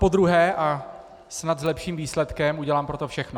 Napodruhé a snad s lepším výsledkem, udělám pro to všechno.